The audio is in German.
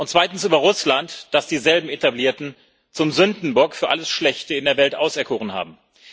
Zweitens über Russland, das dieselben Etablierten zum Sündenbock für alles Schlechte in der Welt auserkoren haben.